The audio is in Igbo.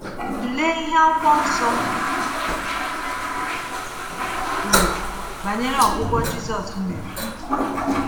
Tụlee ihe Akwụkwọ Nsọ kwuru banyere ọgwụgwọ Jisus mere.